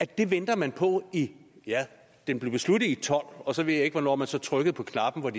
det venter man på ja den blev besluttet i tolv og så ved jeg ikke hvornår man så trykkede på knappen og